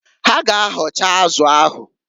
Ha ga- ahọcha azụ ahụ.